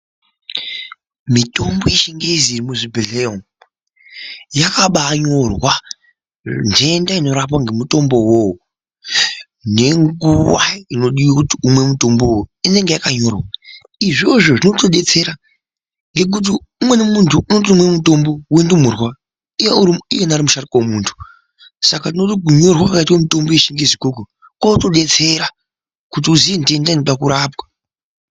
Mitombo yechingezi iri muzvibhehlera umo yakabanyorwa ndenda inorapwa ngemutombo uwowo nenguwa inodiwe kuti umwe mutombo uwo inenge yakanyorwa. Izvozvo zvinotodetsera ngekuti umweni muntu unotomwe mutombo wendumurwa iye iyena ari musharukwa wemuntu, saka tinoone kuti kwakaitwe mitombo yechingezi ukoko kunotodetsera kuti uziye ndenda inode kurapwa.